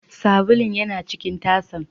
Sabulun yana cikin tasan.